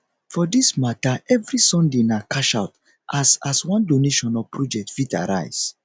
for dis mata evri sunday na cashout as as one donation or project fit arise